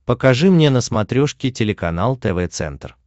покажи мне на смотрешке телеканал тв центр